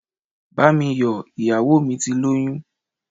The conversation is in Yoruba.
Bá mi yọ̀, iyawo mí tí loyún